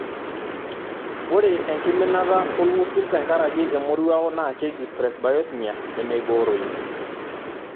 Ore enkiminata olng'usil tenkaraki emoruao naa nkeji presbyosmia nemeibooroyu.